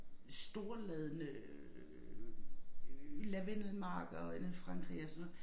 Storladne øh lavendelmarker den i Frankrig og sådan noget